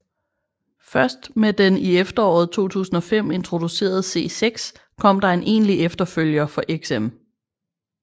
Først med den i efteråret 2005 introducerede C6 kom der en egentlig efterfølger for XM